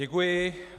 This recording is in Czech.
Děkuji.